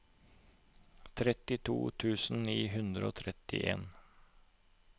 trettito tusen ni hundre og trettien